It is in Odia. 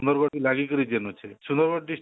ସୁନ୍ଦରଗଡ କୁ ଲାଗିକିରି ଯେନ ଅଛି ସୁନ୍ଦରଗଡ district